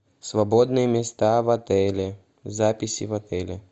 свободные места в отеле записи в отеле